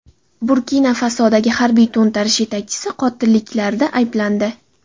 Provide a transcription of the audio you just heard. Burkina-Fasodagi harbiy to‘ntarish yetakchisi qotilliklarda ayblandi .